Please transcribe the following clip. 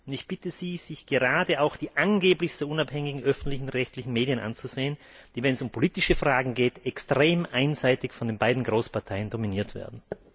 Und ich bitte Sie, sich gerade auch die angeblich unabhängigen öffentlich rechtlichen Medien anzusehen, die wenn es um politische Fragen geht extrem einseitig von den beiden Großparteien dominiert werden.